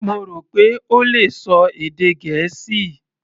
Mo rò pé ó le ṣọ èdè Gẹ̀ẹ́sì.